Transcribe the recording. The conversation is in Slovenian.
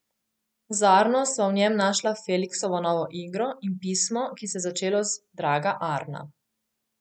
Z Arno sva v njem našla Feliksovo novo igro in pismo, ki se je začelo z Draga Arna.